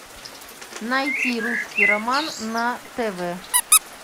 найти русский роман на тв